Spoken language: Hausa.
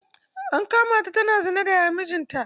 An kama ta tana zina da Yayan mijinta.